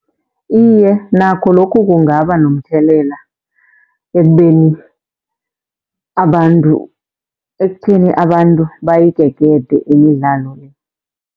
Iye, nakho lokhu kungaba nomthelela ekubeni abantu, ekutheni abantu bayigegede imidlalo le.